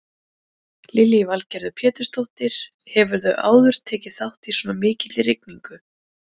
Lillý Valgerður Pétursdóttir: Hefurðu áður tekið þátt í svona mikilli rigningu?